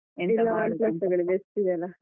Best ಇದೆ ಅಲ್ಲ.